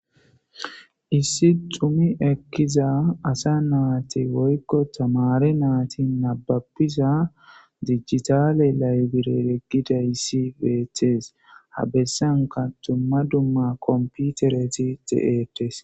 Issi dhumi ekeiza assa nayiti woyi tamare nati nababi dadigital liberere gidayisi betesi,ha bessanika duma duma komipitereti deyesi